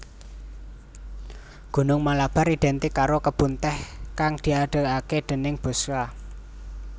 Gunung Malabar identik karo kebun tèh kang diadegaké déning Bosscha